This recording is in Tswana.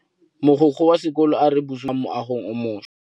Mogokgo wa sekolo a re bosutô ba fanitšhara bo kwa moagong o mošwa.